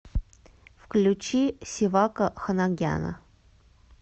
включи севака ханагяна